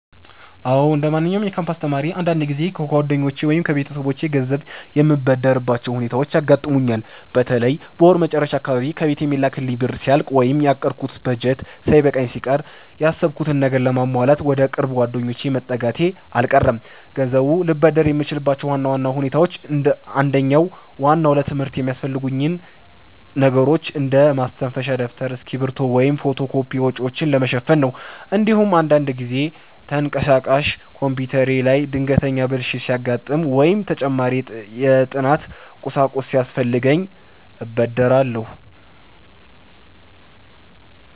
አዎ፣ እንደማንኛውም የካምፓስ ተማሪ አንዳንድ ጊዜ ከጓደኞቼ ወይም ከቤተሰቦቼ ገንዘብ የምበደርባቸው ሁኔታዎች ያጋጥሙኛል። በተለይ በወር መጨረሻ አካባቢ ከቤት የሚላክልኝ ብር ሲያልቅ ወይም ያቀድኩት በጀት ሳይበቃኝ ሲቀር፣ ያሰብኩትን ነገር ለማሟላት ወደ ቅርብ ጓደኞቼ መጠጋቴ አልቀረም። ገንዘብ ልበደር የምችልባቸው ዋና ዋና ሁኔታዎች አንደኛውና ዋናው ለትምህርት የሚያስፈልጉኝን ነገሮች እንደ ማስተንፈሻ ደብተር፣ እስክሪብቶ ወይም የፎቶ ኮፒ ወጪዎችን ለመሸፈን ነው። እንዲሁም አንዳንድ ጊዜ ተንቀሳቃሽ ኮምፒውተሬ ላይ ድንገተኛ ብልሽት ሲያጋጥም ወይም ተጨማሪ የጥናት ቁሳቁስ ሲያስፈልገኝ እበደራለሁ።